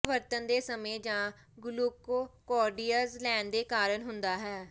ਇਹ ਵਰਤਨ ਦੇ ਸਮੇਂ ਜਾਂ ਗਲੂਕੋਕਾਰਟੌਇਡਜ਼ ਲੈਣ ਦੇ ਕਾਰਨ ਹੁੰਦਾ ਹੈ